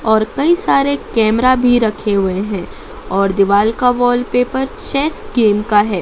और कई सारे कैमरा भी रखे हुए हैं और दीवार का वॉलपेपर चेस गेम का है।